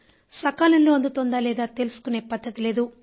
సకాలంలో అందుతోందా లేదా తెలుసుకునే పద్ధతి లేదు